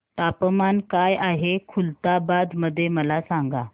तापमान काय आहे खुलताबाद मध्ये मला सांगा